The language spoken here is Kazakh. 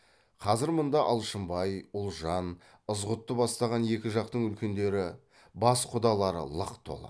қазір мұнда алшынбай ұлжан ызғұтты бастаған екі жақтың үлкендері бас құдалары лық толы